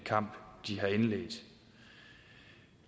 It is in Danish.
kamp de har indledt